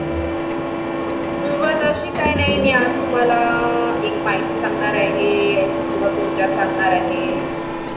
सुरवात अशी काही नाही कि मि आज तुम्हला एक माहिती सांगणार आहे किंवा सुविधा सांगणार आहे.